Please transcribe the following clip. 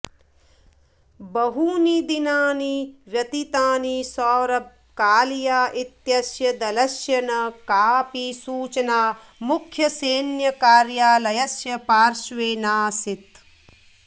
बहूनि दिनानि व्यतीतानि सौरभ कालिया इत्यस्य दलस्य न कापि सूचना मुख्यसैन्यकार्यालयस्य पार्श्वे नासीत्